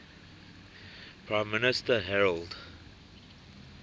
prime minister harold